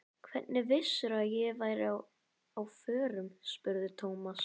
Hvernig vissirðu að ég væri á förum? spurði Thomas.